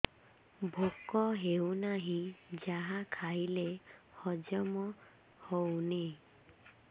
ଭୋକ ହେଉନାହିଁ ଯାହା ଖାଇଲେ ହଜମ ହଉନି